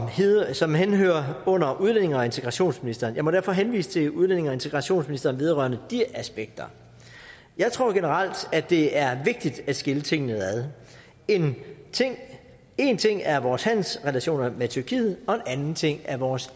som henhører under udlændinge og integrationsministeren jeg må derfor henvise til udlændinge og integrationsministeren vedrørende de aspekter jeg tror generelt at det er vigtigt at skille tingene ad én ting er vores handelsrelationer med tyrkiet og en anden ting er vores